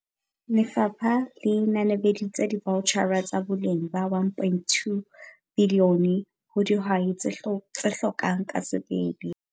Lefapha le nanabeditse divaotjhara tsa boleng ba R1.2 bilione ho dihwai tse hlokang ka sebele.